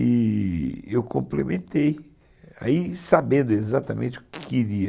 E eu complementei, sabendo exatamente o que queria.